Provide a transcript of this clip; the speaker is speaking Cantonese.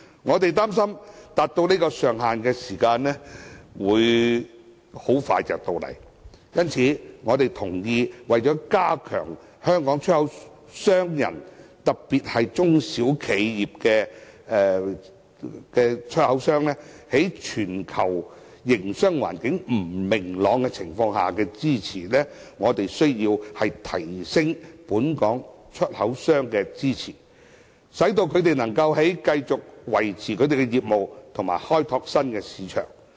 我們擔心，有關金額很快會達致這上限，因此我們同意，為加強香港出口商人，特別是中小企業出口商，在全球營商環境不明朗情況下的競爭力，我們需要提升對本港出口商的支持，讓他們能繼續維持業務，以及開拓新市場。